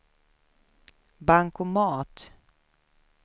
bankomat